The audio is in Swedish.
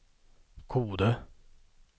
Kode